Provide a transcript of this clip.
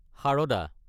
Sharada